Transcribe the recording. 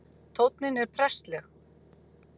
Tónninn er prestleg